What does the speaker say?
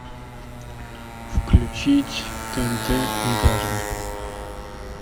включить тнт интерны